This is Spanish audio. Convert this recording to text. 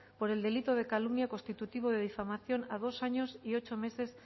por el delito de calumnia constitutivo de difamación a dos años y ocho meses